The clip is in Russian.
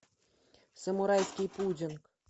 самурайский пудинг